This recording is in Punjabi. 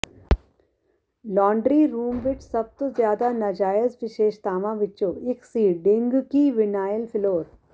ਲਾਂਡਰੀ ਰੂਮ ਵਿਚ ਸਭ ਤੋਂ ਜ਼ਿਆਦਾ ਨਾਜਾਇਜ਼ ਵਿਸ਼ੇਸ਼ਤਾਵਾਂ ਵਿਚੋਂ ਇਕ ਸੀ ਡਿੰਗਕੀ ਵਿਨਾਇਲ ਫਲੋਰ